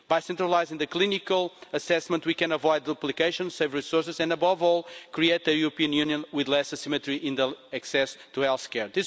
By centralising the clinical assessment we can avoid duplication, save resources and, above all, create a European Union with less asymmetry in access to health care.